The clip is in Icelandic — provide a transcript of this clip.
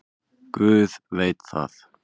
Guð veit það.